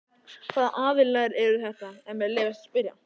Hvaða aðilar eru þetta ef mér leyfist að spyrja?